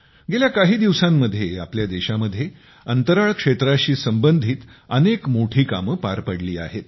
गेल्या काही दिवसांमध्ये आपल्या देशामध्ये अंतराळ क्षेत्राशी संबंधित अनेक मोठी कामे पार पडली आहेत